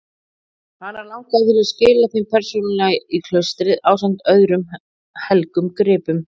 Hana langaði til að skila þeim persónulega í klaustrið ásamt öðrum helgum gripum.